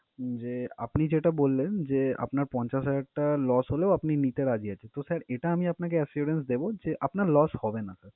উম যে আপনি যেটা বললেন যে আপনার পঞ্চাশ হাজার টাকা loss হলেও আপনি নিতে রাজি আছেন, তো sir এটা আমি আপনাকে assurance দেবো যে আপনার loss হবে না sir ।